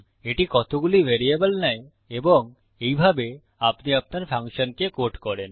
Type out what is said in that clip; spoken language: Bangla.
এটি কতগুলি ভ্যারিয়েবল নেয় এবং এইভাবে আপনি আপনার ফাংশনকে কোড করেন